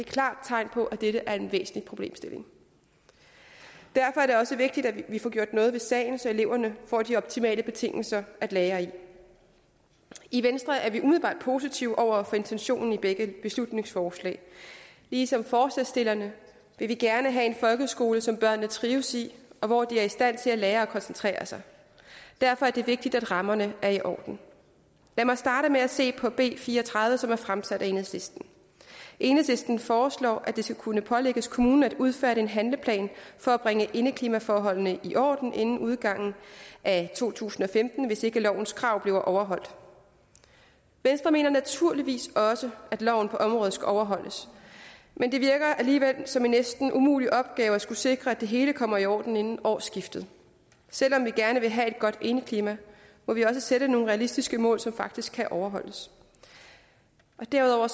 klart tegn på at dette er en vigtig problemstilling derfor er det også vigtigt at vi får gjort noget ved sagen så eleverne får de optimale betingelser at lære i i venstre er vi umiddelbart positive over for intentionen i begge beslutningsforslag ligesom forslagsstillerne vil vi gerne have en folkeskole som børnene trives i og hvor de er i stand til at lære og koncentrere sig derfor er det vigtigt at rammerne er i orden lad mig starte med at se på b fire og tredive som er fremsat af enhedslisten enhedslisten foreslår at det skal kunne pålægges kommunen at udføre en handleplan for at bringe indklimaforholdene i orden inden udgangen af to tusind og femten hvis ikke lovens krav bliver overholdt venstre mener naturligvis også at loven på området skal overholdes men det virker alligevel som en næsten umulig opgave at skulle sikre at det hele kommer i orden inden årsskiftet selv om vi gerne vil have et godt indeklima må vi også sætte nogle realistiske mål som faktisk kan overholdes derudover